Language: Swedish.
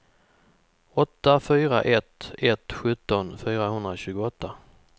åtta fyra ett ett sjutton fyrahundratjugoåtta